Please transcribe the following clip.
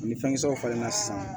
Ni fɛnkisɛw falen na sisan